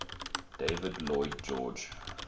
david lloyd george